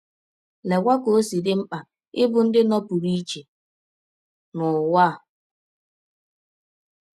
Leekwa ka ọ si dị mkpa ịbụ ndị nọpụrụ iche n’ụwa a!